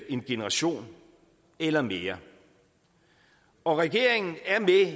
en generation eller mere og regeringen er